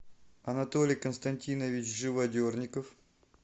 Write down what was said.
анатолий константинович живодерников